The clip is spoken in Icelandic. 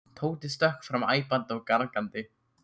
Tóti stökk fram æpandi og gargandi.